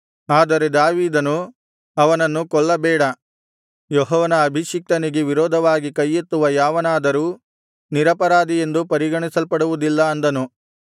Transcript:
ಆದರೆ ದಾವೀದನು ಅವನನ್ನು ಕೊಲ್ಲಬೇಡ ಯೆಹೋವನ ಅಭಿಷಿಕ್ತನಿಗೆ ವಿರೋಧವಾಗಿ ಕೈಯೆತ್ತುವ ಯಾವನಾದರೂ ನಿರಪರಾಧಿಯೆಂದು ಪರಿಗಣಿಸಲ್ಪಡುವುದಿಲ್ಲ ಅಂದನು